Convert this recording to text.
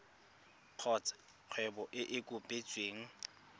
kgotsa kgwebo e e kopetsweng